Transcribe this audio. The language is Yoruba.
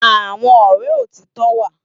Awòn òrè ótitò wá